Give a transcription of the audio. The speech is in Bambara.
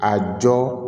A jɔn